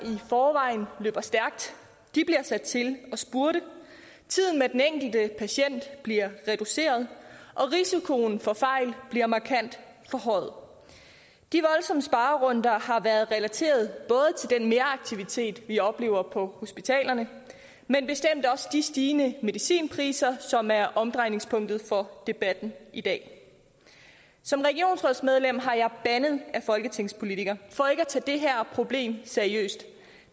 i forvejen løber stærkt bliver sat til at spurte tiden med den enkelte patient bliver reduceret og risikoen for fejl bliver markant forhøjet de voldsomme sparerunder har været relateret både til den meraktivitet vi oplever på hospitalerne men bestemt også de stigende medicinpriser som er omdrejningspunktet for debatten i dag som regionsrådsmedlem har jeg bandet ad folketingspolitikere for ikke at tage det her problem seriøst